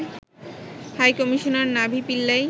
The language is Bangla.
high commissioner Navi Pillay